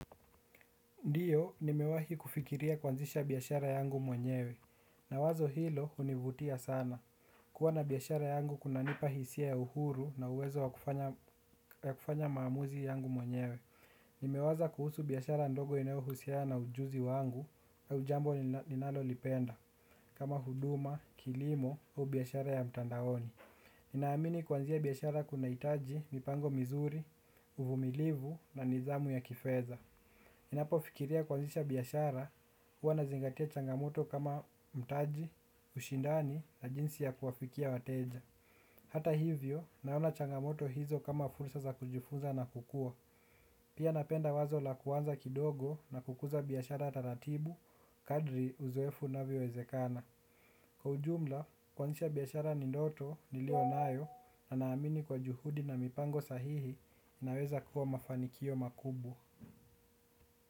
Ndiyo nimewahi kufikiria kwanzisha biashara yangu mwenyewe na wazo hilo hunivutia sana kuwa na biashara yangu kunanipa hisia ya uhuru na uwezo wa kufanya maamuzi yangu mwenyewe nimewaza kuhusu biashara ndogo inayohusiana na ujuzi wanguau jambo ninalolipenda kama huduma, kilimo au biashara ya mtandaoni ninaamini kuanzia biashara kunahitaji, mipango mizuri, uvumilivu na nidhamu ya kifedha ninapofikiria kuanzisha biashara, huwa nazingatia changamoto kama mtaji, ushindani, na jinsi ya kuwafikia wateja hata hivyo, naona changamoto hizo kama fursa za kujifunza na kukua pia napenda wazo la kuanza kidogo na kukuza biashara taratibu, kadri uzoefu inavyowezekana. Kwa ujumla, kwanzisha biashara ni ndoto, niliyonayo, na naamini kwa juhudi na mipango sahihi, naweza kuwa mafanikio makubwa.